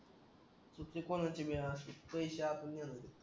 चुकी कोणाची भी असो पैसे आपले